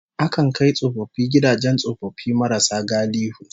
Akan kai tsofaffi gidajen tsofaffi marasa galihu